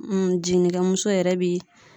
jiginnikɛmuso yɛrɛ bi